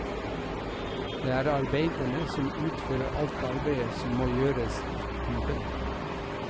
Det er arbeiderne som utfører alt arbeidet som må gjøres i kuben.